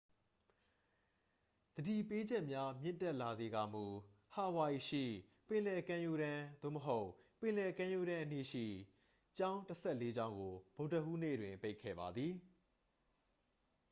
သတိပေးချက်များမြင့်တက်လာစေကာမူ ဟာဝိုင်အီရှိ ပင်လယ်ကမ်းရိုးတန်း သို့မဟုတ် ပင်လယ်ကမ်းရိုးတန်းအနီးရှိ ကျောင်းတစ်ဆယ့်လေးကျောင်းကို ဗုဒ္ဓဟူးနေ့တွင် ပိတ်ခဲ့ပါသည်